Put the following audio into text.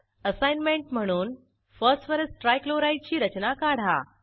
assignment म्हणून phosphorus trichloride ची रचना काढा